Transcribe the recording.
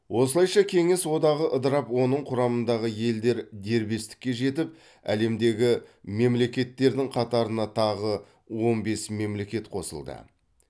осылайша кеңес одағы ыдырап оның құрамындағы елдер дербестікке жетіп әлемдегі мемлекеттердің қатарына тағы он бес мемлекет қосылды